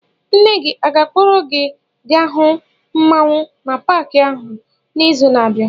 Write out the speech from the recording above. Nne gị ọ ga-akpọrọ gị gaa hụ mmanwu na Pááki ahụ n'izu na-abịa?